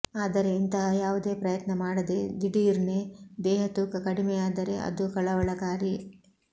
ಆದರೆ ಇಂತಹ ಯಾವುದೇ ಪ್ರಯತ್ನ ಮಾಡದೆ ದಿಢೀರ್ನೆ ದೇಹತೂಕ ಕಡಿಮೆಯಾದರೆ ಅದು ಕಳವಳಕಾರಿ